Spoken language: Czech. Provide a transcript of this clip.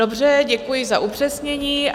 Dobře, děkuji za upřesnění.